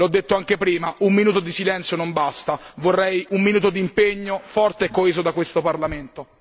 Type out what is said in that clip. L'ho detto anche prima un minuto di silenzio non basta, vorrei un minuto di impegno forte e coeso da questo Parlamento.